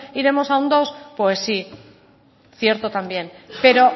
iremos a un dos pues sí cierto también pero